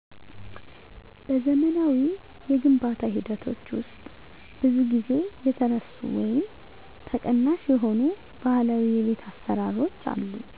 በዘመናዊ የግንባታ ሂደቶች ውስጥ ብዙ ጊዜ የተረሱ ወይም ተቀናሽ የሆኑ ባህላዊ የቤት አሰራሮች አሉ።